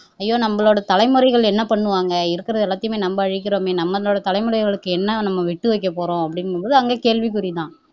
ஐயோ நம்மளோட தலைமுறைகள் என்ன பண்ணுவாங்க இருக்கிறது எல்லாத்தையுமே நம்ம அழிக்கிறோமே நம்மளோட தலைமுறைகளுக்கு என்ன நம்ம விட்டு வைக்கப்போறோம் அப்படிங்கும்போது அங்க கேள்விகுறி தான்